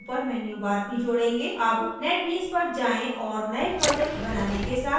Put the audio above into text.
अब netbeans पर जाएँ और नए project बनाने के साथ शुरू करें